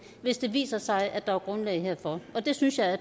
hvis det viser sig at der er grundlag herfor og det synes jeg